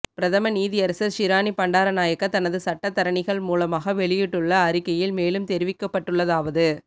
பிரதம நீதியரசர் ஷிராணி பண்டாரநாயக்க தனது சட்டத்தரணிகள் மூலமாக வெளியிட்டுள்ள அறிக்கையில் மேலும் தெரிவிக்கப்பட்டுள்ளதாவது